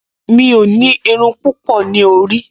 Mi ò ní irun púpọ̀ ní orí